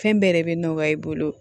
Fɛn bɛɛ yɛrɛ bɛ nɔgɔya i bolo